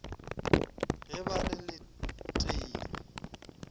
ge ba re le teilwe